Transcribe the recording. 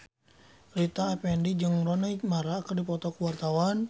Rita Effendy jeung Rooney Mara keur dipoto ku wartawan